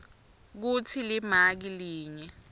kutsi limaki linye